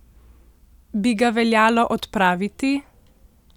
Bi ga veljalo odpraviti?